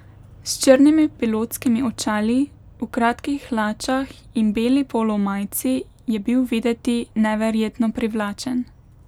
S črnimi pilotskimi očali, v kratkih hlačah in beli polo majici je bil videti neverjetno privlačen.